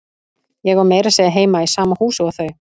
Ég á meira að segja heima í sama húsi og þau.